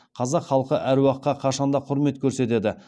қазақ халқы әруаққа қашан да құрмет көрсетеді